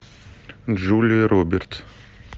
джулия робертс